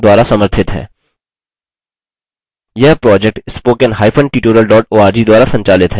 यह project